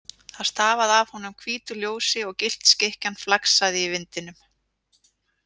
Það stafaði af honum hvítu ljósi og gyllt skikkjan flaksaði í vindinum.